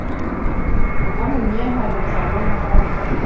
a ka monyeha letlalong ka